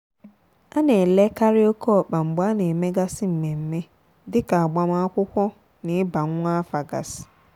a na-elekari oke ọkpa mgbe a na emegasị mmemme dika agbamakwụkwọ na ịba nwa afa gasị.